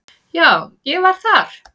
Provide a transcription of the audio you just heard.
Já, ég var þar.